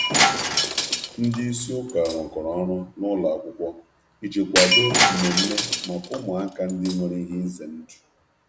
Ndị ndú okpukperechi jikọrọ aka um na ụlọ um akwụkwọ iji akwụkwọ iji kwado mmemme maka ụmụaka nọ n’ihe egwu.